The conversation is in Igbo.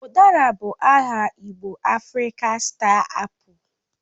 Udara bụ bụ aha igbo Afrịkan Star Apu